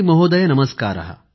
महोदय नमस्कारः